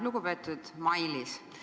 Lugupeetud Mailis!